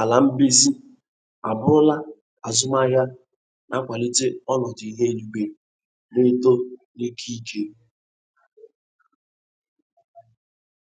ala mbize abụrụla azụmahịa na-akwalite ọnọdụ ihu eluigwe na-eto ni'ike n'ike.